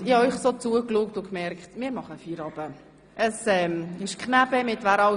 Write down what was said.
Ich habe dem Rat zugesehen und gemerkt, dass es besser ist, wenn wir Feierabend machen.